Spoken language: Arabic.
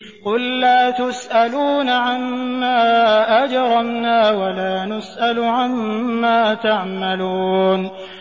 قُل لَّا تُسْأَلُونَ عَمَّا أَجْرَمْنَا وَلَا نُسْأَلُ عَمَّا تَعْمَلُونَ